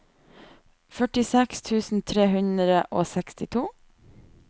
førtiseks tusen tre hundre og sekstito